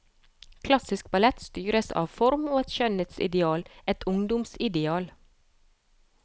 Klassisk ballett styres av form og et skjønnhetsideal, et ungdoms ideal.